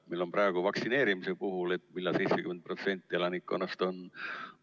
Meil on praegu vaktsineerimise puhul küsimus, millal 70% elanikkonnast on vaktsineeritud.